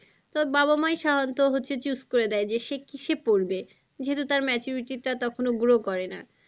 তার বাবা মাই সাধারণত হচ্ছে choose করে দেয় যে সে কিসে পড়বে? যেহেতু তার maturity টা তখনও grow করে না।